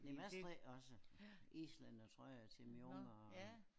Men jeg strikker også islændertrøjer til mine unger og